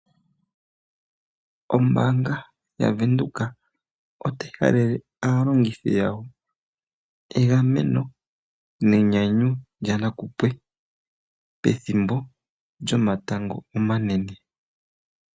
Ombaanga yaVenduka otayi halele aalongithi yawo egameno nenyanyu lyanakupwe pethimbo lyomatango omanene.